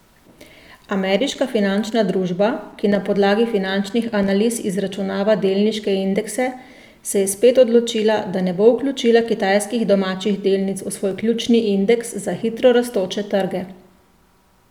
Ameriška finančna družba, ki na podlagi finančnih analiz izračunava delniške indekse, se je spet odločila, da ne bo vključila kitajskih domačih delnic v svoj ključni indeks za hitro rastoče trge.